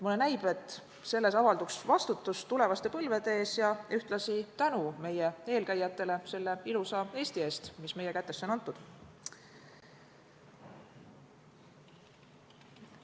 Mulle näib, et selles avalduks vastutus tulevaste põlvede ees ja ühtlasi tänu meie eelkäijatele selle ilusa Eesti eest, mis meie kätesse on antud.